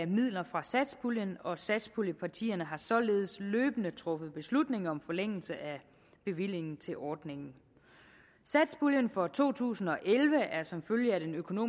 midler fra satspuljen og satspuljepartierne har således løbende truffet beslutning om forlængelse af bevillingen til ordningen satspuljen for to tusind og elleve er som følge